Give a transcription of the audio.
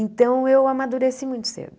Então, eu amadureci muito cedo.